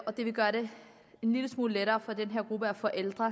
det vil gøre det en lille smule lettere for den her gruppe forældre